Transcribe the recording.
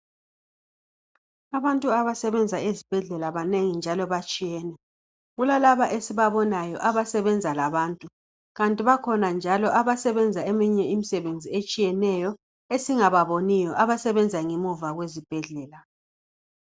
Abantu abasebenza ezibhedlela banengi njalo batshiyene kulalaba esibabonayo abasebenza labantu kanti bakhona njalo abasebenza eminye imisebenzi etshiyeneyo esingababoniyo abasebenza ngemuva kwezibhedlela.